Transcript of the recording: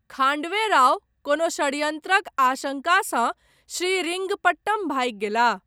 खाण्डे राव कोनो षड्यंत्रक आशंकासँ श्रीरिंगपट्टम भागि गेलाह।